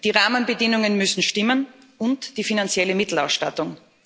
Die Rahmenbedingungen müssen stimmen und die finanzielle Mittelausstattung.